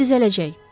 Hər şey düzələcək.